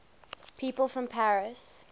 people from paris